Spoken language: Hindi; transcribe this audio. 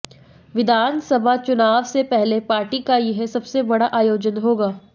विधानसभा चुनाव से पहले पार्टी का यह सबसे बड़ा आयोजन होगा